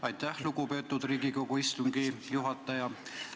Aitäh, lugupeetud Riigikogu istungi juhataja!